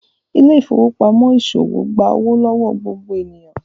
Ile-ifowopamọ iṣowo gbà owo lọwọ gbogbo ènìyàn